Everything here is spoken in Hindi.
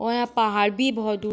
और यहाँ पहाड़ भी बहुत दूर--